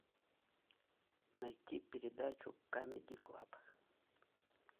найти передачу камеди клаб